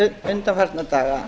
undanfarna daga